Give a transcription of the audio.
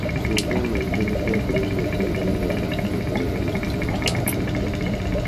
Nacio ciama ingĩ nĩ ciambĩrĩirie kũrũga nĩgetha ciongerere mũigana wa ambunge.